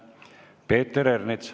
Peeter Ernits.